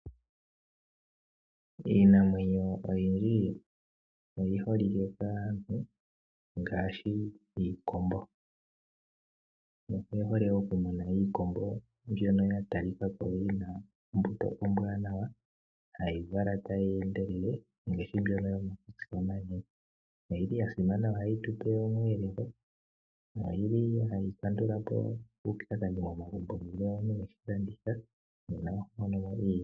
Iinamwenyo oyindji oyi holike kaantu ngaashi iikombo. Oye hole okumuna iikombo mbyono ya talika ko yina ombuto ombwanawa hayi vala tayi endelele ngaashi mbyono yomakutsi omanene. Oyi li ya simana ohayi tu pe omweelelo. Oyi li hayi kandula po uupyakadhi momagumbo una eshilanditha noha mono iimaliwa.